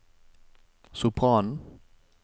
sopranen